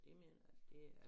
Det mener jeg det er